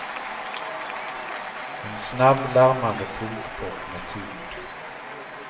En snabb, larmande punkpop med tyngd.